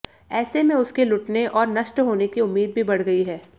ऐसे में उसके लुटने और नष्ट होने की उम्मीद भी बढ़ गई है